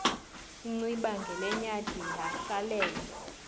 inciba ngelenyathi yahlalela